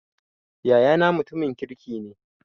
Yayana mutumin kirki ne